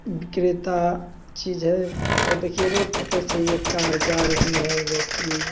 विक्रेता चीज़ है और देखिये रोड पर कैसे यह कार जा रही है जो की--